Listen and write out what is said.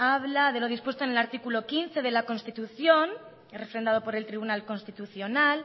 habla de lo dispuesto en el artículo quince de la constitución refrendado por el tribunal constitucional